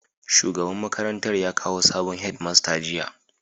Shugaban makarantar ya kawo sabon Head master jiya